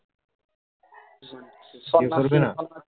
স্নান করবেনা